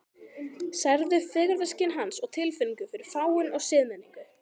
Særðu fegurðarskyn hans og tilfinningu fyrir fágun og siðmenningu.